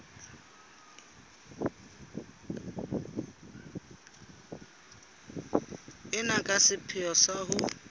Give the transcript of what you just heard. ena ka sepheo sa ho